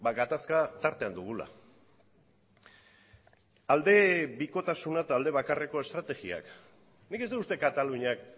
gatazka tartean dugula aldebikotasuna eta aldebakarreko estrategiak nik ez dut uste kataluniak